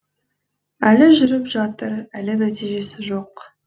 әлі жүріп жатыр әлі нәтижесі жоқ